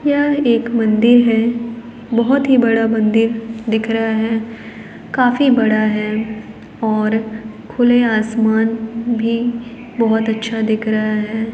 यह एक मंदिर है बहुत ही बड़ा मंदिर दिख रहा है काफी बड़ा है और खुले आसमान भी बहुत अच्छा दिख रहा है।